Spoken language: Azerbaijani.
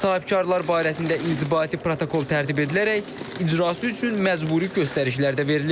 Sahibkarlar barəsində inzibati protokol tərtib edilərək icrası üçün məcburi göstərişlər də verilib.